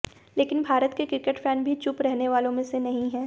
लेकिन भारत के cricket fan भी चुप रहने वालों में से नहीं हैं